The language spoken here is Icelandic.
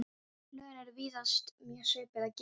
Lögin eru víðast mjög svipuð að gerð.